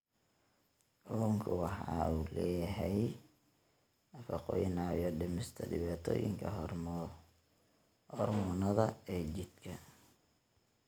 Kalluunku waxa uu leeyahay nafaqooyin caawiya dhimista dhibaatooyinka hormoonnada ee jidhka.